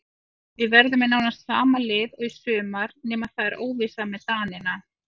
Við verðum með nánast sama lið og í sumar nema það er óvissa með Danina.